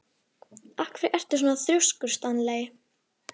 Af hverju ertu svona þrjóskur, Stanley?